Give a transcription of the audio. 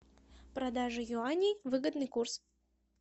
продажа юаней выгодный курс